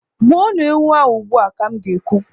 Gbuo nu ewu a ugbua! ka m ga- ekwu.